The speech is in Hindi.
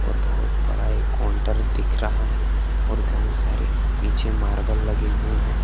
और बहुत बड़ा एक काउंटर दिख रहा है और बहुत सारे नीचे मार्बल लगे हुए है।